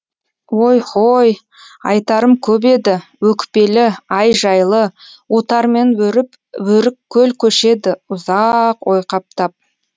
ой һой айтарым көп еді өкпелі ай жайлы отармен өріп өрік көл көшеді ұза а ақ ойқаптап